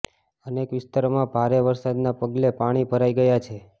અનેક વિસ્તારોમાં ભારે વરસાદના પગલે પાણી ભરાઇ ગયા છે